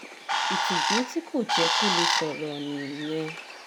ìtìjú tí kò jẹ́ kó lè sọ̀rọ̀ nìyẹn